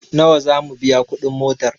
Nawa zamu biya kuɗi motar?